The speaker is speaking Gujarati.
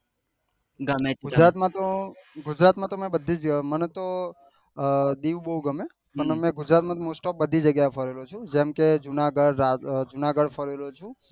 ગુજરાત માં તો ગુજરાત માં તો મેં બધી મને તો અર દીવ બહુ ગમે ગુજરાત માં તો mostoff બધી જગ્યા એ ફરે લો છુ જેમ કે જુનાગઢ ફરે લો છુ